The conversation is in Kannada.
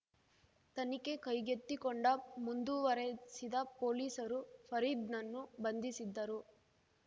ತನಿಖೆ ಕೈಗೆತ್ತಿಕೊಂಡ ಮುಂದುವರೆಸಿದ ಪೊಲೀಸರು ಫರೀದ್‌ನನ್ನು ಬಂಧಿಸಿದ್ದರು